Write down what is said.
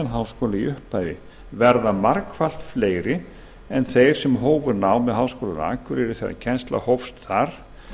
í upphafi verða margfalt fleiri en þeir sem hófu nám við háskólann á akureyri þegar kennsla hófst þar